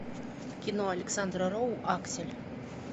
кино александра роу аксель